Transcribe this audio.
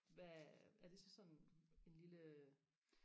hvad er det så sådan en lille øh